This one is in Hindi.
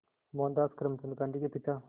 मोहनदास करमचंद गांधी के पिता